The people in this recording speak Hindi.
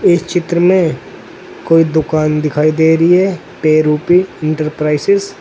इस चित्र में कोई दुकान दिखाई दे रही है पे रूपी इंटरप्राइजेज ।